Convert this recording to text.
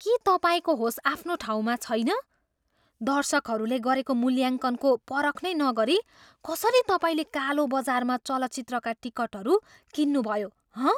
के तपाईँको होस आफ्नो ठाउँमा छैन? दर्शकहरूले गरेको मूल्याङ्कनको परख नै नगरी कसरी तपाईँले कालो बजारमा चलचित्रका टिकटहरू किन्नुभयो, हँ?